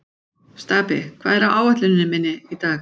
Stapi, hvað er á áætluninni minni í dag?